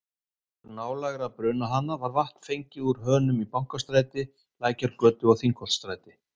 Auk nálægra brunahana var vatn fengið úr hönum í Bankastræti, Lækjargötu og Þingholtsstræti.